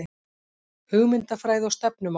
Hugmyndafræði og stefnumál